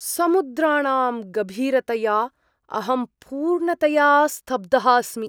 समुद्राणां गभीरतया अहं पूर्णतया स्तब्धः अस्मि!